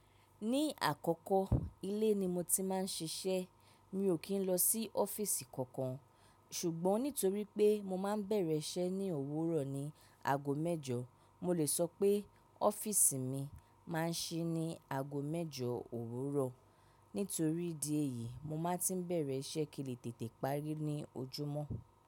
Ní àkọ́kọ́, ilé ni mo ti máa ń ṣiṣẹ́. Mi ò kí ń lọ sí ọ́fíìsì kankan, ṣùgbọ́n nítorí pé mo máa ń bẹ̀rẹ̀ iṣẹ́ ní òwúrọ̀ ní ago mẹ́jọ, mo lè sọ pé ọ́fíìsì mi máa ń ṣí ní ago mẹ́jọ òwúrọ̀. Nítorí di èyí, mo máa tí ń bẹ̀rẹ̀ iṣẹ́ kí lè tètè parí ní ojúmọ́.